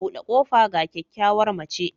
Bude kofa ga kyakkyawar mace